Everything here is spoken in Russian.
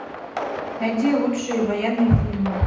найди лучшие военные фильмы